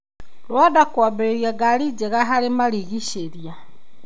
Rwanda kwambĩrĩria ngari njega harĩ marigiceria.